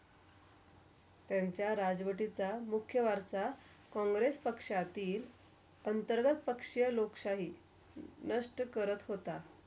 त्यांचा राजवटीचा मुख्या वारसा. कॉंग्रेस पक्षातील आणि सर्वा पक्ष्या लोकशाही नष्ट करत होता.